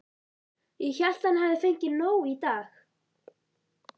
Ég hélt að hann hefði fengið nóg í dag.